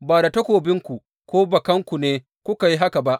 Ba da takobinku ko bakanku ne kuka yi haka ba.